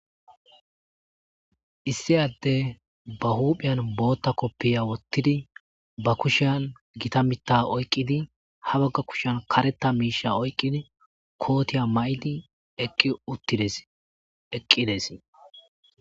issi adde ba huuphiyan bootta koppiya wottidi ba kushian gita mitta oyqqidi ha bagga kushan karetta miisha oyqqidi kootiya ma7idi eqqi uttides eqqides